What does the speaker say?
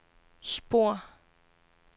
spor